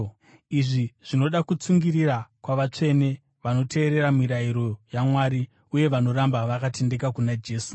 Izvi zvinoda kutsungirira kwavatsvene vanoteerera mirayiro yaMwari uye vanoramba vakatendeka kuna Jesu.